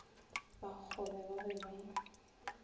ba kgobe ba be ba